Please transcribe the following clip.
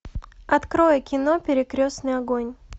открой кино перекрестный огонь